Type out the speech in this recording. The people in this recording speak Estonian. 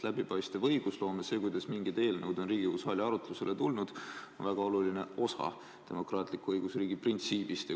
Läbipaistev õigusloome, see, kuidas mingid eelnõud on Riigikogu saali arutlusele tulnud, on väga oluline osa demokraatliku õigusriigi printsiibist.